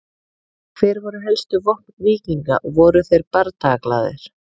Hver voru helstu vopn víkinga og voru þeir bardagaglaðir?